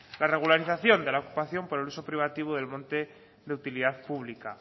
la regularización de la ocupación por el uso privativo del monte de utilidad pública